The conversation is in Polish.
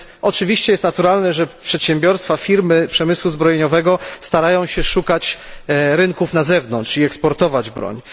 Oczywiście jest naturalne, że przedsiębiorstwa, firmy przemysłu zbrojeniowego starają się szukać rynków na zewnątrz i eksportować broń.